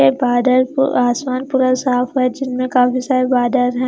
ये बादल पे आसमान पूरा साफ है जिनमें काफी सारे बादल हैं।